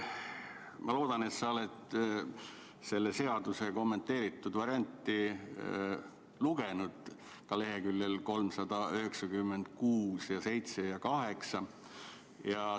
Ma loodan, et sa oled selle seaduse kommenteeritud varianti lugenud, ka lehekülgi 396, 397 ja 398.